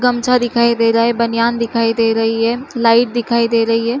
गमछा दिखाई दे रही है बनियान दिखाई दे गई है लाइट दिखाई दे गयी है।